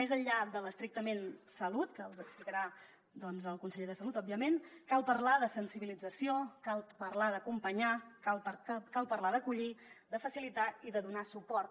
més enllà de l’estrictament salut que els explicarà el conseller de salut òbviament cal parlar de sensibilització cal parlar d’acompanyar cal parlar d’acollir de facilitar i de donar suport